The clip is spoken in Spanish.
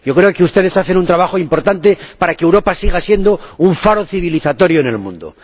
Yo creo que ustedes hacen un trabajo importante para que Europa siga siendo un faro de civilización en el mundo.